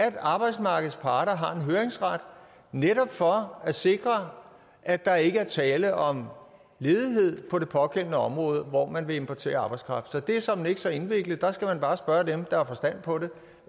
at arbejdsmarkedets parter har en høringsret netop for at sikre at der ikke er tale om ledighed på det på det område hvor man vil importere arbejdskraft så det er såmænd ikke så indviklet der skal man bare spørge dem der har forstand på det